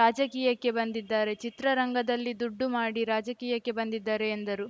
ರಾಜಕೀಯಕ್ಕೆ ಬಂದಿದ್ದಾರೆ ಚಿತ್ರರಂಗದಲ್ಲಿ ದುಡ್ಡು ಮಾಡಿ ರಾಜಕೀಯಕ್ಕೆ ಬಂದಿದ್ದಾರೆ ಎಂದರು